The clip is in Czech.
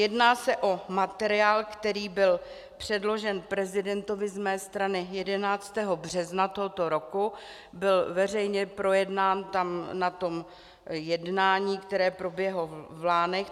Jedná se o materiál, který byl předložen prezidentovi z mé strany 11. března tohoto roku, byl veřejně projednán tam na tom jednání, které proběhlo v Lánech.